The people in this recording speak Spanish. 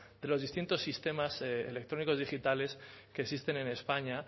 de los distintos sistemas electrónicos digitales que existen en españa